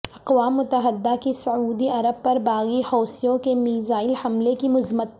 اقوام متحدہ کی سعودی عرب پر باغی حوثیوں کے میزائل حملے کی مذمت